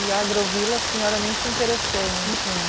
E a agrovila a senhora nem se interessou em ir. Não.